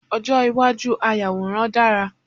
Ojo iwaju ayàwòrán dara